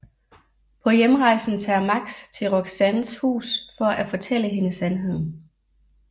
På hjemrejsen tager Max til Roxannes hus for at fortælle henne sandheden